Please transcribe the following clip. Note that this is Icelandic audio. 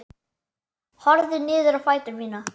Horfi niður á fætur mína.